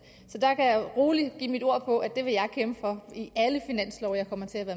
så der kan jeg roligt give mit ord på at det vil jeg kæmpe for i alle finanslove jeg kommer til